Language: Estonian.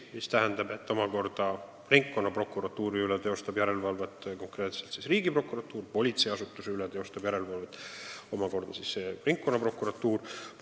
See tähendab seda, et ringkonnaprokuratuuri üle teostab järelevalvet Riigiprokuratuur, politseiasutuse üle teostab järelevalvet ringkonnaprokuratuur.